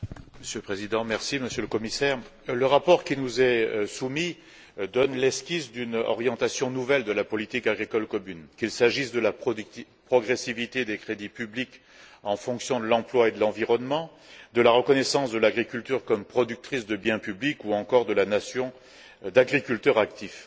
Monsieur le Président, Monsieur le Commissaire, le rapport qui nous est soumis donne l'esquisse d'une orientation nouvelle de la politique agricole commune, qu'il s'agisse de la progressivité des crédits publics en fonction de l'emploi et de l'environnement, de la reconnaissance de l'agriculture comme productrice de biens publics ou encore de la notion d'agriculteurs actifs.